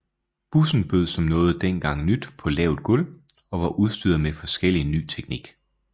Bussen bød som noget dengang nyt på lavt gulv og var udstyret med forskellig ny teknik